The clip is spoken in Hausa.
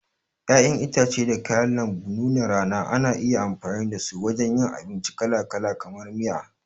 Ƴaƴan itace da kayan lambu nunar rana ana iya amfani dasu wajen yin abinci kalakala, kamar miya.